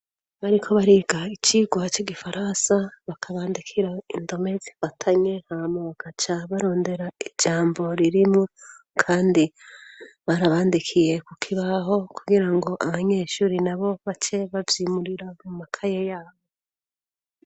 Bariko bariga icigwa c'igifaransa bakabandikira indome zifatanye hama bagaca barondera ijambo ririmwo kandi barabandikiye ku kibaho kugira ngo abanyeshuri nabo bace bavyimurira mu makaye yabo.